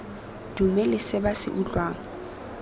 dumele se ba se utlwang